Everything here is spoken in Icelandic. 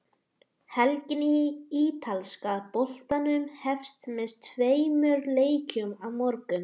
Helgin í ítalska boltanum hefst með tveimur leikjum á morgun.